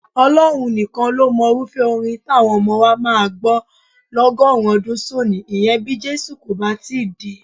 Ọlọ́run nìkan ló mọrúfẹ́ orin táwọn ọmọ wa máa gbọ́ lọ́gọ́rin ọdún sónìí, ìyẹn bí Jésù kò bà tíì dé.